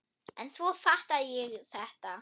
En svo fattaði ég þetta!